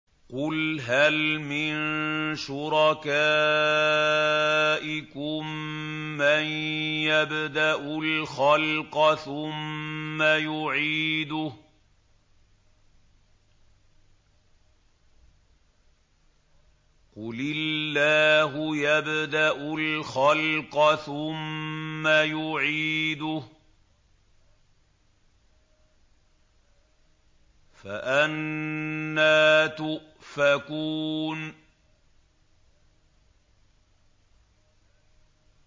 قُلْ هَلْ مِن شُرَكَائِكُم مَّن يَبْدَأُ الْخَلْقَ ثُمَّ يُعِيدُهُ ۚ قُلِ اللَّهُ يَبْدَأُ الْخَلْقَ ثُمَّ يُعِيدُهُ ۖ فَأَنَّىٰ تُؤْفَكُونَ